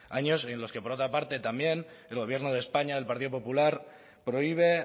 años en los que por otra parte también el gobierno de españa el partido popular prohíbe